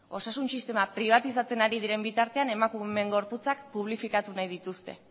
osasun sistema pribatizatzen ari diren bitartean emakumeon gorputzak publifikatu nahi dituzte